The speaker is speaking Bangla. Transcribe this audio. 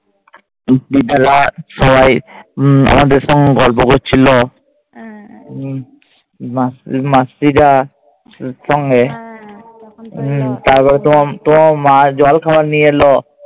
সবাই আমাদের সঙ্গে গল্প করছিল মাসিরা সঙ্গে। তারপর তোমার মা জলখাবার নিয়ে এলো।